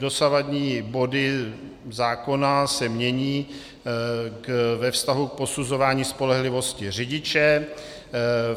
Dosavadní body zákona se mění ve vztahu k posuzování spolehlivosti řidiče.